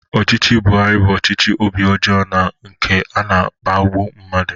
Ọchịchị Buhari bụ ọchịchị obi ọjọọ na nke na-akpagbu mmadụ.